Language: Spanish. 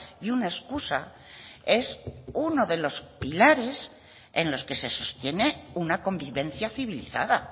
y una excusa es uno de los pilares en los que se sostiene una convivencia civilizada